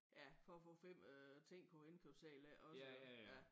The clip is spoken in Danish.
Ja for at få 5 øh ting på indkøbsedlen iggås ja